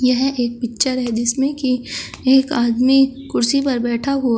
यह एक पिक्चर है जिसमें की एक आदमी कुर्सी पर बैठा हुआ --